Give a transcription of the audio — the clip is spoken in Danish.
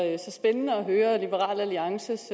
jeg spændende at høre liberal alliances